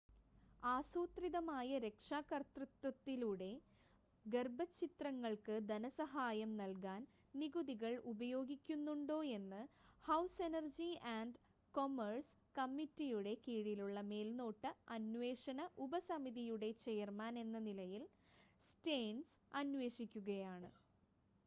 ആസൂത്രിതമായ രക്ഷാകർതൃത്വത്തിലൂടെ ഗർഭച്ഛിദ്രങ്ങൾക്ക് ധനസഹായം നൽകാൻ നികുതികൾ ഉപയോഗിക്കുന്നുണ്ടോയെന്ന് ഹൗസ് എനർജി ആൻഡ് കൊമേഴ്‌സ് കമ്മിറ്റിയുടെ കീഴിലുള്ള മേൽനോട്ട അന്വേഷണ ഉപസമിതിയുടെ ചെയർമാൻ എന്ന നിലയിൽ സ്റ്റേൺസ് അന്വേഷിക്കുകയാണ്